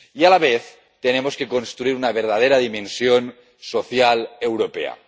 Y, a la vez, tenemos que construir una verdadera dimensión social europea.